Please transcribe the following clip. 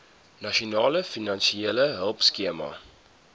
nasionale finansiële hulpskema